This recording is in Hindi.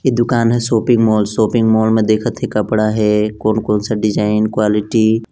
ए दुकान है शॉपिंग मॉल शॉपिंग मॉल में देखत है कपड़ा है कोन - कोन से डिज़ाइन क्वालिटी --